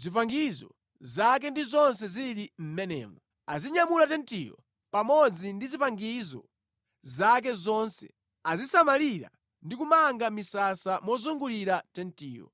zipangizo zake ndi zonse zili mʼmenemo. Azinyamula tentiyo pamodzi ndi zipangizo zake zonse; azisamalira ndi kumanga misasa mozungulira tentiyo.